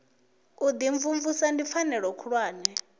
u imvumvusa ndi pfanelo khulwane